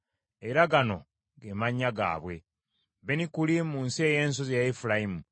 Era gano ge mannya gaabwe: Benikuli, mu nsi ey’ensozi eya Efulayimu;